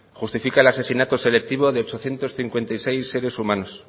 justifica el asesinato selectivo de ochocientos cincuenta y seis seres humanos